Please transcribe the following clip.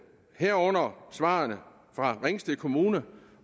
herunder svarene fra ringsted kommune